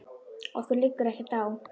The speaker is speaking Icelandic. Okkur liggur ekkert á